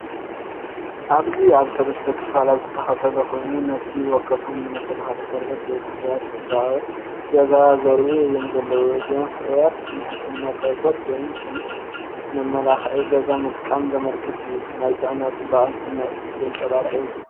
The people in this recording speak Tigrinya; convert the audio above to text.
ኣብዚ ኣብ ሰለስተ ክፋላት ዝተኸፋፈለ ኮይኑ፡ ነፍሲ ወከፎም ንመከላኸሊ ቆርበት ወይ ፍርያት ጽባቐ ገዛ ዘርእዩ እዮም ዘለው። እዚኦም ፍርያት ንሕክምና ቆርበት ወይ ከም መመላኽዒ ገዛ ምጥቃም ዘመልክት እዩ። ናይ ጥዕናን ጽባቐን ስምዒት ዘንጸባርቕ እዩ።